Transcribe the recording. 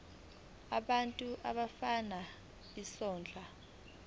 abantu abafuna isondlo